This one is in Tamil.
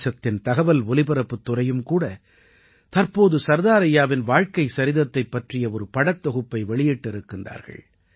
தேசத்தின் தகவல் ஒலிபரப்புத் துறையும் கூட தற்ப்போது சர்தார் ஐயாவின் வாழ்க்கை சரிதத்தைப் பற்றிய ஒரு படத் தொகுப்பை வெளியிட்டிருக்கிறார்கள்